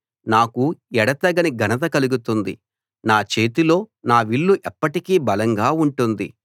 నాకు ఎడతెగని ఘనత కలుగుతుంది నా చేతిలో నా విల్లు ఎప్పటికీ బలంగా ఉంటుంది